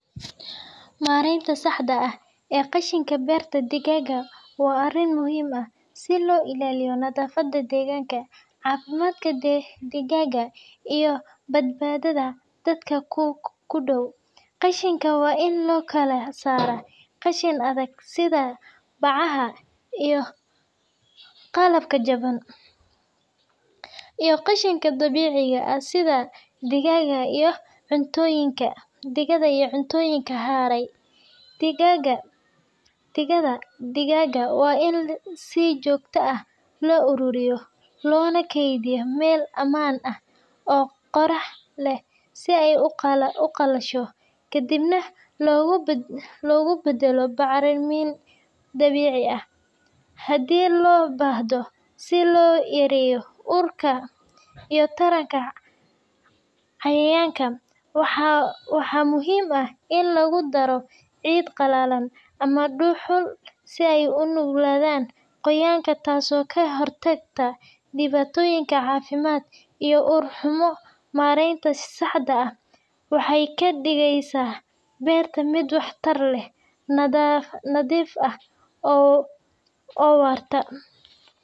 Maaraynta saxda ah ee qashinka beerta digaagga waa arrin muhiim ah si loo ilaaliyo nadaafadda deegaanka, caafimaadka digaagga, iyo badbaadada dadka ku dhow. Qashinka waa in loo kala saaraa qashin adag sida bacaha iyo qalabka jaban, iyo qashin dabiici ah sida digada iyo cuntooyinka haray. Digada digaagga waa in si joogto ah loo ururiyaa, loona kaydiyaa meel ammaan ah oo qorrax leh si ay u qalasho, kadibna loogu beddelo bacrimin dabiici ah haddii loo baahdo. Si loo yareeyo urka iyo taranka cayayaanka, waxaa muhiim ah in lagu daro ciid qalalan ama dhuxul si ay u nuugaan qoyaanka, taasoo ka hortagta dhibaatooyin caafimaad iyo ur xumo. Maarayntan saxda ah waxay ka dhigaysaa beerta mid waxtar leh, nadiif ah, oo waarta.